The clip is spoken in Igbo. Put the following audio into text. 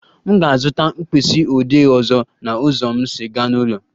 M ga-azụta mkpịsị odee ọzọ na ụzọ m si aga n'ụlọ